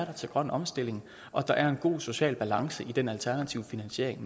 til grøn omstilling er og at der er en god social balance i den alternative finansiering